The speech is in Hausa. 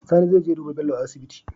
Sani zeje ya duba Bello a asibiti